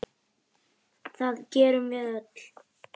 Það gerum við öll.